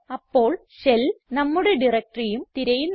അപ്പോൾ ഷെൽ നമ്മുടെ directoryഉം തിരയുന്നു